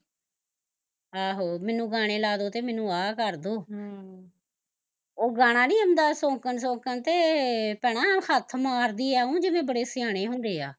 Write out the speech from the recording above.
ਆਹੋ ਮੈਨੂੰ ਗਾਣੇ ਲਾਦੋ ਤੇ ਮੈਨੂੰ ਆਹ ਕਰਦੋ ਹਮ ਉਹ ਗਾਣਾ ਨੀ ਆਉਂਦਾ ਸੌਕਣ ਸੌਕਣੇ ਤੇ ਭੈਣਾਂ ਹੱਥ ਮਾਰਦੀ ਐਓ ਜਿਦਾ ਬੜੇ ਸਿਆਣੇ ਹੁੰਦੇ ਆ